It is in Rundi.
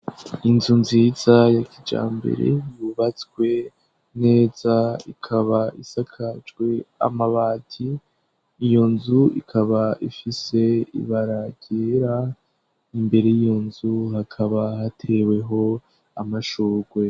Inzu nziza ya kijambere yubatswe neza, ikaba isakajwe amabati, iyo nzu ikaba ifise ibara ryera, imbere y'iyo nzu hakaba hateweho amashugwe.